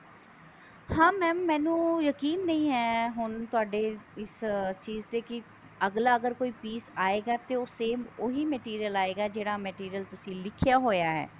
ਹਾਂ mam ਮੈਨੂੰ ਯਕੀਨ ਨਹੀਂ ਹੈ ਹੁਣ ਤੁਹਾਡੇ ਇਸ ਚੀਜ ਤੇ ਕਿ ਅੱਗਲਾ ਅਗਰ ਕੋਈ piece ਆਏਗਾ ਤੇ ਉਹ same ਉਹੀ material ਆਏਗਾ ਜਿਹੜਾ material ਤੁਸੀਂ ਲਿਖਿਆ ਹੋਇਆ ਹੈ